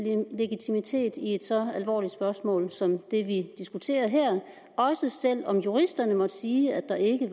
legitimitet i et så alvorligt spørgsmål som det vi diskuterer her også selv om juristerne måtte sige at der ikke